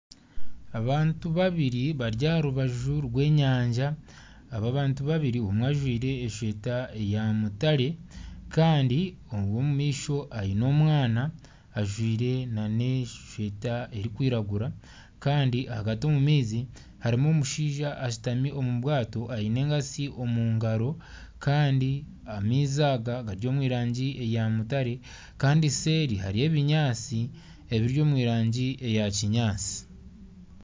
Abantu babiri bari aha rubaju rw'enyanja, aba bantu babiri omwe ajwaire eshweta ya mutare kandi ow'omumaisho aine omwana ajwaire n'eshweta erikwiragura kandi ahagati omu maizi harimu omushaija ashutami omu bwato aine enkatsi omu ngaro kandi amaizi aga gari omu rangi eya mutare kandi seeri hariyo ebinyaatsi ebiri omu rangi eya kinyaatsi.